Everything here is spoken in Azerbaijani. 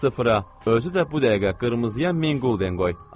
Sıfıra, özü də bu dəqiqə qırmızıya min qulden qoy.